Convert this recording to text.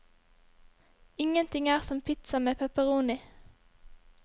Ingenting er som pizza med pepperoni.